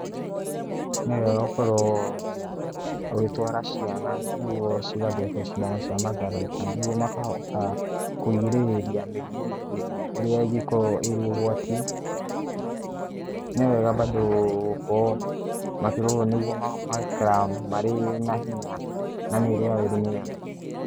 Nĩ wega gũkorwo ũgĩtwara ciana nĩgwo ciana cigathecwo cindano cia matharaita nĩguo cikahota kũgirĩrĩria mĩrimũ ĩrĩa ĩngĩkorwo ĩrĩ ũgwati. Nĩwega bado gũkorwo makĩrorwo nĩguo magaikara marĩ na hinya na mĩĩrĩ yao ĩrĩ mĩega.